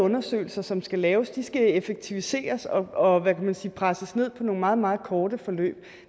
undersøgelser som skal laves skal effektiviseres og og hvad kan man sige presses ned til nogle meget meget korte forløb